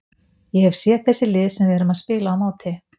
Ég hef séð þessi lið sem við erum að spila á móti.